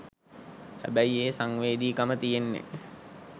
හැබැයි ඒ සංවේදිකම තියෙන්නේ